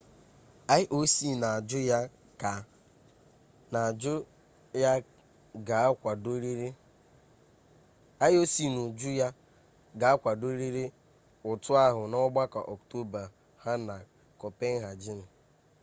ioc n'uju ya ga akwadorịrị ụtụ ahụ n'ọgbakọ ọktoba ha na kopenhagen